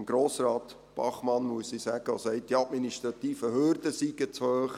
Und zu Grossrat Bachmann, der sagt, die administrativen Hürden seien zu hoch,